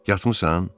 Yatmısan?